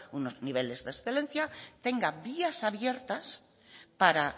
unos niveles de excelencia tengan vías abiertas para